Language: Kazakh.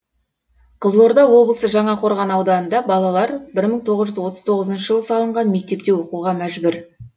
қызылорда облысы жаңақорған ауданында балалар бір мың тоғыз жүз отыз тоғызыншы жылы салынған мектепте оқуға мәжбүр